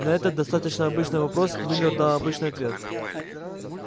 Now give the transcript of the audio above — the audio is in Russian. на этот достаточно обычный вопрос мюллер дал обычный ответ